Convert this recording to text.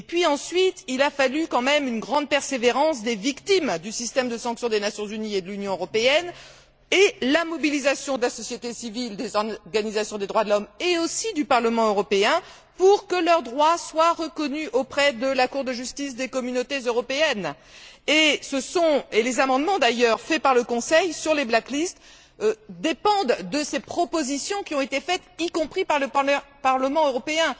Ensuite, il a quand même fallu une grande persévérance de la part des victimes du système de sanctions des Nations unies et de l'Union européenne et la mobilisation de la société civile, des organisations des droits de l'homme et aussi du Parlement européen, pour que leurs droits soient reconnus par la Cour de justice des Communautés européennes. Et d'ailleurs, les amendements proposés par le Conseil sur les black lists dépendent des propositions qui ont été faites, y compris par le Parlement européen.